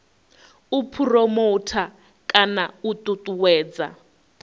u phuromotha kana u ṱuṱuwedza